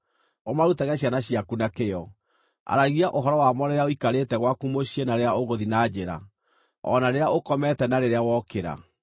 Ũmarutage ciana ciaku na kĩyo. Aragia ũhoro wamo rĩrĩa ũikarĩte gwaku mũciĩ na rĩrĩa ũgũthiĩ na njĩra, o na rĩrĩa ũkomete na rĩrĩa wokĩra.